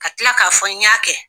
Ka tila k'a fɔ n y'a kɛ